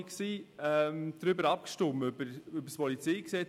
1998 hatten wir über das PolG abgestimmt.